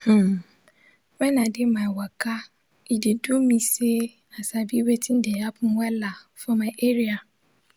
hmmn- wen i de my waka e de do me say i sabi wetin de happen wella for my area